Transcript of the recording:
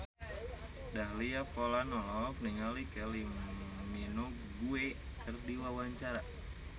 Dahlia Poland olohok ningali Kylie Minogue keur diwawancara